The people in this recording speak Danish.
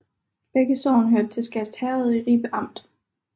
Begge sogne hørte til Skast Herred i Ribe Amt